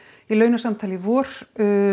í launasamtali í vor